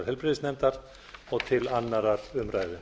heilbrigðisnefndar og til annarrar umræðu